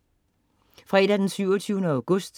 Fredag den 27. august